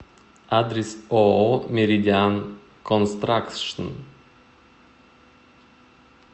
адрес ооо меридиан констракшн